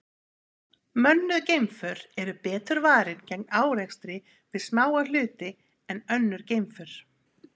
Mönnuð geimför eru betur varin gegn árekstri við smáa hluti en önnur geimför.